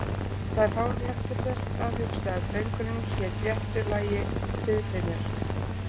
Það er fáránlegt til þess að hugsa að drengurinn hét réttu lagi Friðfinnur